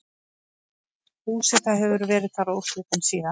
Búseta hefur verið þar óslitin síðan.